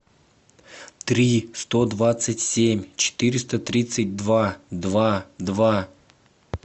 три сто двадцать семь четыреста тридцать два два два